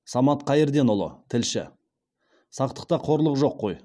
самат қайырденұлы тілші сақтықта қорлық жоқ қой